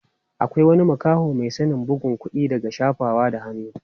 Akwai wani makaho mai sanin bugun kuɗi daga shafawa da hannu.